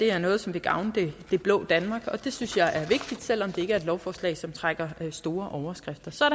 er noget som vil gavne det blå danmark og det synes jeg er vigtigt selv om det ikke et lovforslag som trækker store overskrifter så er